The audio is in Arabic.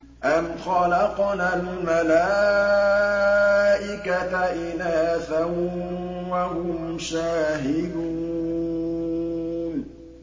أَمْ خَلَقْنَا الْمَلَائِكَةَ إِنَاثًا وَهُمْ شَاهِدُونَ